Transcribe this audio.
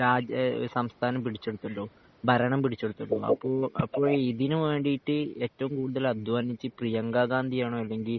രാജ്യ സംസഥാനം പിടിച്ചെടുത്തല്ലോ ഭരണം പിടിച്ചെടുത്തല്ലോ അപ്പൊ അപ്പൊ ഇതിന് വേണ്ടിട്ട് ഏറ്റവും കൂടുതൽ അധ്വാനിച്ചെ പ്രിയങ്ക ഗാന്ധി ആണോ അല്ലെങ്കിൽ